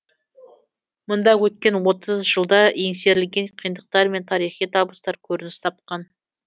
мұнда өткен отыз жылда еңсерілген қиындықтар мен тарихи табыстар көрініс тапқан